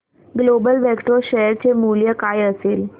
global Vectra share चे मूल्य काय असेल